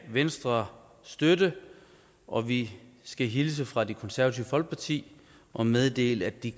venstre støtte og vi skal hilse fra det konservative folkeparti og meddele at de